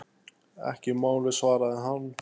Ekki málið, svaraði hann.